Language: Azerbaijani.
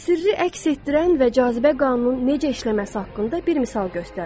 Sirri əks etdirən və cazibə qanunun necə işləməsi haqqında bir misal göstərirəm.